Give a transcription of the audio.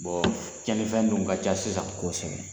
cɛnnin fɛn dun ka ca sisan. Kosɛbɛ